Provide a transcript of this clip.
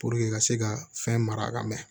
ka se ka fɛn mara ka mɛn